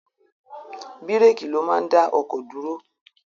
Bíréékì ló máa ń dá ọkọ̀ dúró.